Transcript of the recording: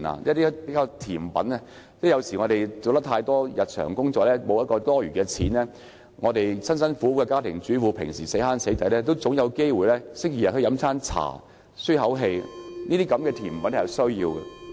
有時候，由於我們要做大量的日常工作，沒有餘錢，就像家庭主婦平常辛辛苦苦省吃儉用，也應有機會星期天上茶樓舒一口氣，所以甜品是必需的。